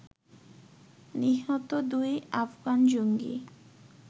নিহত দুই আফগান জঙ্গি